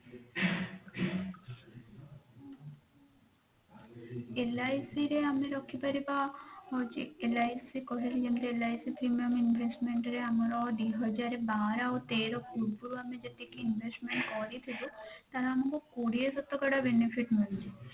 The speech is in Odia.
LIC ରେ ଆମେ ରଖିପାରିବା ହୋଉଛି LIC କହିଲି ଯେମିତି LIC premium investment ରେ ଆମର ଦି ହଜାର ବାର ଆଉ ତେର ପୂର୍ବ ରୁ ଆମେ ଯେତିକି investment କରିଥିଲୁ ତାହା ଆମକୁ କୋଡିଏ ଶତକଡା benefit ମିଳୁଛି